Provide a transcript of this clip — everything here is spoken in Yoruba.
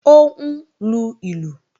Ó ń lu ìlù